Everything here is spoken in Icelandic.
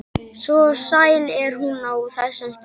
Svo sæl er hún á þessum stundum.